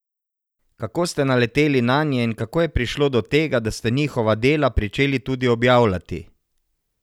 Kako ste naleteli nanje in kako je prišlo do tega, da ste njihova dela pričeli tudi objavljati?